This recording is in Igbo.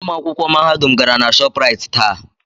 Ụmụ akwụkwọ Mahadum gara na Shopraịt taa.